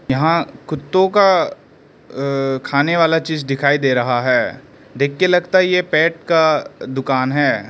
यहां कुत्तों का खाने वाला चीज दिखाई दे रहा है। देख के लगता है यह पेट का दुकान है।